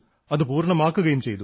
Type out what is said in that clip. അത് പൂര്ണ്ണമാക്കുകയും ചെയ്തു